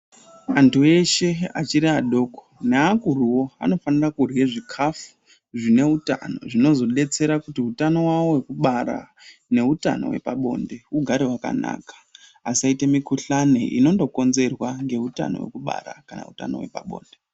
Antu eshe achiri adoko neakuruwo anofanira kurhye zvikafu zvine utano zvinozodetsera kuti utano hwawo hwekubara neutano hwepabonde hugare hwakanaka, asaite mikuhlane inondokonzerwa ngeutano hwekubara kana utano hwepabonde.